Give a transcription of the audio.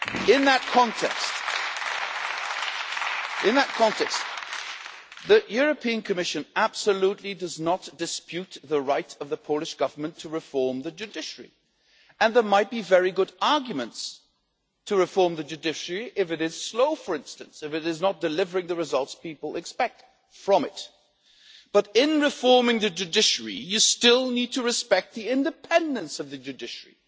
In that context, the European Commission absolutely does not dispute the right of the Polish Government to reform the judiciary, and there might be very good arguments to reform the judiciary if it is slow, for instance, or if it is not delivering the results people expect from it. But in reforming the judiciary, you still need to respect the independence of the judiciary.